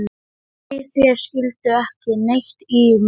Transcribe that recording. Nei, þeir skildu ekki neitt í neinu.